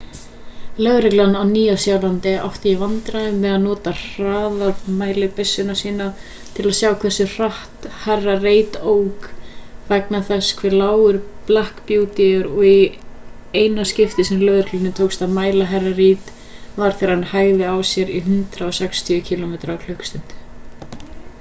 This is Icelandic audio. lögreglan á nýja-sjálandi átti í vandræðum með að nota hraðamælibyssur sínar til að sjá hversu hratt hr. reid ók vegna þess hve lágur black beauty er og í eina skiptið sem lögreglunni tókst að mæla hr. reid var þegar hann hægði á sér í 160 km/klst